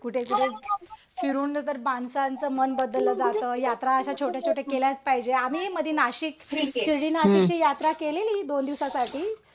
कुठे कुठे फिरून जर माणसांचं मन बदललं जातं. यात्रा अशा छोट्या छोट्या केल्याचं पाहिजे. आम्ही मध्ये नाशिक शिर्डी नाशिकची यात्रा केलेली दोन दिवसासाठी.